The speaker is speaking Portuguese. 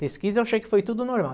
Pesquisa eu achei que foi tudo normal.